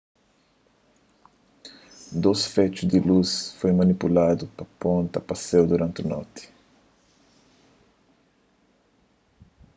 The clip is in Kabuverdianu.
dôs fexu di lus foi manipuladu pa ponta pa séu duranti noti